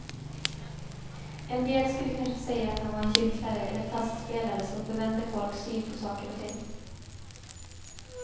En del skulle kanske säga att han var en gycklare eller taskspelare som förvände folks syn på saker och ting.